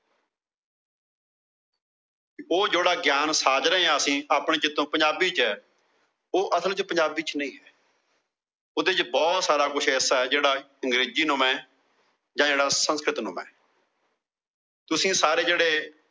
ਉਹ ਜਿਹੜਾ ਗਿਆਨ ਸਾਜ ਰਹੇ ਹਾਂ ਅਸੀਂ। ਆਪਣੇ ਚਿਤੋ ਪੰਜਾਬੀ ਚ। ਉਹ ਅਸਲ ਚ ਪੰਜਾਬੀ ਚ ਨਹੀਂ ਹੈ। ਉਹਂਦੇ ਚ ਬਹੁਤ ਸਾਰਾ ਕੁਛ ਐਸਾ ਹੈ ਜਿਹੜਾ ਅੰਗਰੇਜ਼ੀ ਨੂੰ ਜਾ ਜਿਹੜਾ ਸੰਸਕ੍ਰਿਤ ਨੂੰ ਮੈ । ਤੁਸੀਂ ਸਾਰੇ ਜਿਹੜੇ